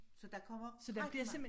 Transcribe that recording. Så der kommer rigtig mange